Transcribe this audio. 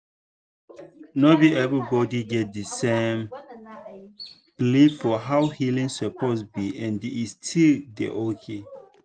no be everybody get the same belief for how healing suppose be and e still dey okay.